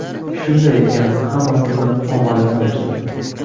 Shunday ekan hammasini omadini bersin.